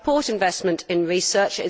I support investment in research.